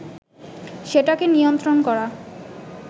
সেটাকে নিয়ন্ত্রণ করা